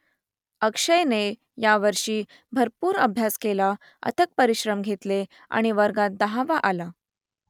अक्षयने यावर्षी भरपूर अभ्यास केला अथक परिश्रम घेतले आणि वर्गात दहावा आला